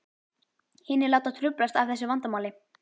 Hinir láta truflast af þessu vandamáli.